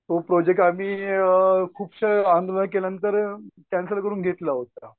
तो प्रोजेक्ट आम्ही अ खूप आंदोलनं केल्यांनतर कॅन्सल करून घेतलं आहोत.